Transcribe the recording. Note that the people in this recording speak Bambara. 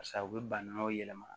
Sa u bɛ banaw yɛlɛma